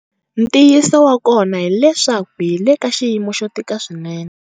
Ntiyiso wa kona hileswaku hi le ka xiyimo xo tika swinene.